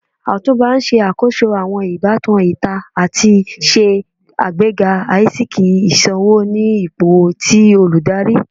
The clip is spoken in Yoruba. Otunba n ṣakoso awọn ibatan ita ati ṣe agbega aisiki iṣowo ni ipo ti oludari.